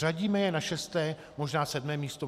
Řadíme je na šesté, možná sedmé místo.